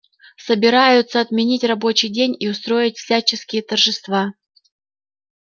собираются отменить рабочий день и устроить всяческие торжества